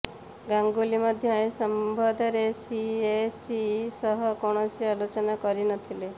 ଗାଙ୍ଗୁଲି ମଧ୍ୟ ଏ ସମ୍ବନ୍ଧରେ ସିଏସି ସହ କୌଣସି ଆଲୋଚନା କରିନଥିଲେ